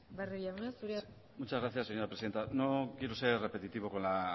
barrio jauna zurea da hitza muchas gracias señora presidenta no quiero ser repetitivo con la